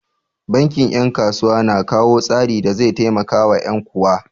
Bankin 'yan kasuwa na kawo tsari da zai taimakawa 'yan kuwa.